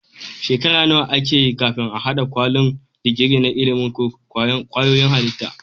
Shekara nawa akeyi kafin a hada kwalin digiri na ilimin kwayoyin halitta